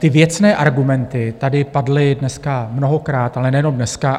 Ty věcné argumenty tady padly dneska mnohokrát, ale nejenom dneska.